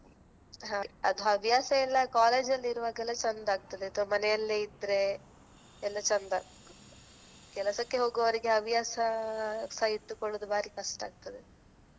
ಹಾಗೆ ಅದು ಹವ್ಯಾಸ ಎಲ್ಲ college ಅಲ್ಲಿ ಇರುವಾಗೆಲ್ಲ ಚೆಂದ ಆಗ್ತದೆ ಅತ್ವಾ ಮನೆಯಲ್ಲೇ ಇದ್ರೆ ಎಲ್ಲ ಚೆಂದ ಕೆಲ್ಸಕ್ಕೆ ಹೋಗುವವರಿಗೆ ಹವ್ಯಾಸ ಸಹ ಇಟ್ಟುಕೊಳ್ಳುದು ಬಾರಿ ಕಷ್ಟ ಆಗ್ತದೆ.